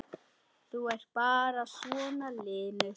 Þú ert bara svona linur!